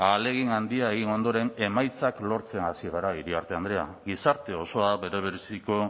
ahalegin handia egin ondoren emaitzak lortzen hasi gara iriarte andrea gizarte osoa berebiziko